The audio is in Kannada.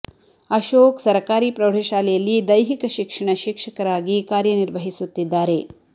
ಅಶೋಕ್ ಸರಕಾರಿ ಪ್ರೌಢ ಶಾಲೆ ಯಲ್ಲಿ ದೈಹಿಕ ಶಿಕ್ಷಣ ಶಿಕ್ಷಕರಾಗಿ ಕಾರ್ಯ ನಿರ್ವಹಿಸುತ್ತಿದ್ದಾರೆ